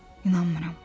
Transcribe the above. İnanmıram.